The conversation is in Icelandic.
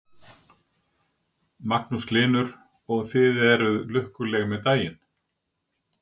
Magnús Hlynur: Og þið eruð lukkuleg með daginn?